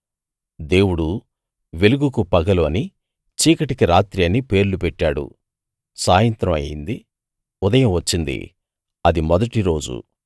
దేవుడు వెలుగుకు పగలు అనీ చీకటికి రాత్రి అని పేర్లు పెట్టాడు సాయంత్రం అయింది ఉదయం వచ్చింది మొదటి రోజు